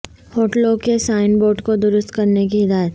ہوٹلوں کے sign board کو درست کرنے کی ہدایت